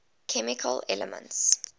chemical elements